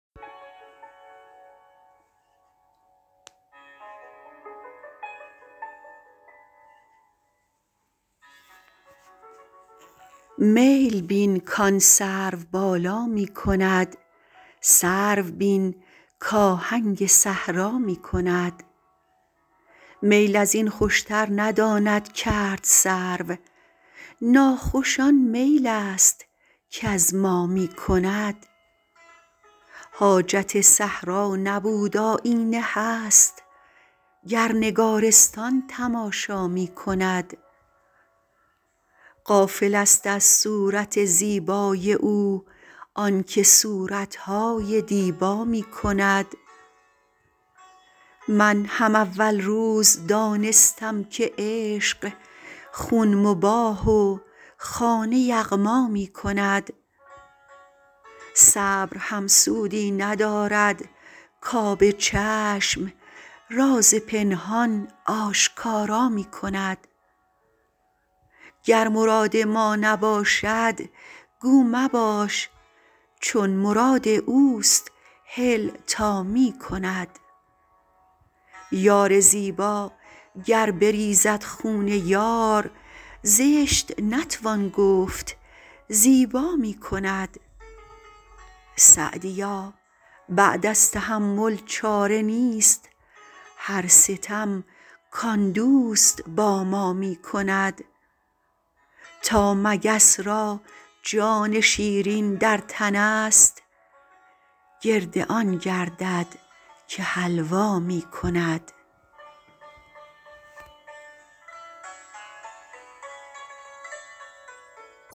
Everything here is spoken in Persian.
میل بین کآن سروبالا می کند سرو بین کآهنگ صحرا می کند میل از این خوشتر نداند کرد سرو ناخوش آن میل است کز ما می کند حاجت صحرا نبود آیینه هست گر نگارستان تماشا می کند غافلست از صورت زیبای او آن که صورت های دیبا می کند من هم اول روز دانستم که عشق خون مباح و خانه یغما می کند صبر هم سودی ندارد کآب چشم راز پنهان آشکارا می کند گر مراد ما نباشد گو مباش چون مراد اوست هل تا می کند یار زیبا گر بریزد خون یار زشت نتوان گفت زیبا می کند سعدیا بعد از تحمل چاره نیست هر ستم کآن دوست با ما می کند تا مگس را جان شیرین در تنست گرد آن گردد که حلوا می کند